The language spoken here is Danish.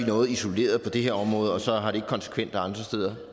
noget isoleret på det her område og så har det ikke konsekvenser andre steder